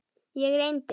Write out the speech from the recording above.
Ég reyndi.